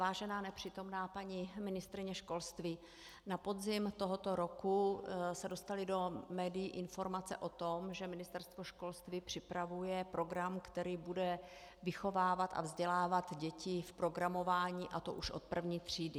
Vážená nepřítomná paní ministryně školství, na podzim tohoto roku se dostaly do médií informace o tom, že Ministerstvo školství připravuje program, který bude vychovávat a vzdělávat děti v programování, a to už od první třídy.